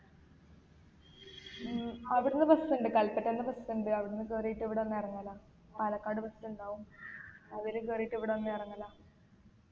ഉം അവിട്ന്ന് bus ഇണ്ട് കല്പറ്റന്ന് bus ഇണ്ട് അവിടന്നു കയറിട്ട് ഇവിടെ വന്ന് ഇറങ്ങല പാലക്കാട് bus ഇണ്ടാവും അതിൽ കേറീട്ട് ഇവിടെ വന്ന് ഇറങ്ങല